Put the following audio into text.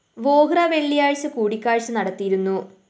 വോഹ്ര വെള്ളിയാഴ്ച കൂടിക്കാഴ്ച നടത്തിയിരുന്നു